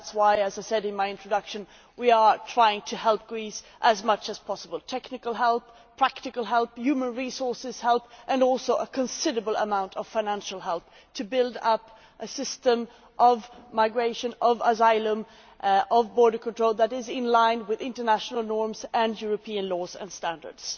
That is why, as I said in my introduction, we are trying to help Greece as much as possible, providing technical help, practical help, human resources help, and also a considerable amount of financial help to build up a system of migration, of asylum and of border control that is in line with international norms and European laws and standards.